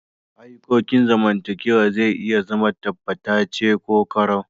Ayukokin zamantakewa zai iya zama tabbatace ko korau.